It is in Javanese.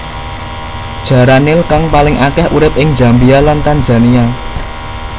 Jaran nil kang paling akèh urip ing Zambia lan Tanzania